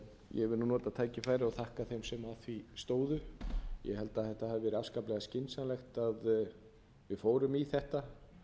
ég vil nota tækifærið og þakka þeim sem að því stóðu ég held að þetta hafi verið afskaplega skynsamlegt að við fórum í þetta